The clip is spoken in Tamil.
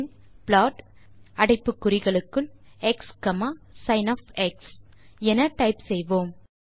பின் plotxசின் என டைப் செய்வோம்